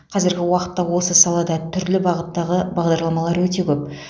қазіргі уақытта осы салада түрлі бағыттағы бағдарламалар өте көп